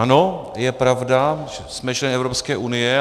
Ano, je pravda, že jsme členy Evropské unie.